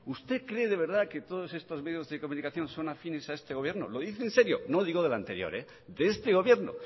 usted cree de verdad que todos estos medios de comunicación son afines a este gobierno lo dice en serio no digo del anterior de este gobierno